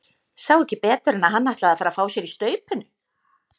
Sá ekki betur en að hann ætlaði að fara að fá sér í staupinu!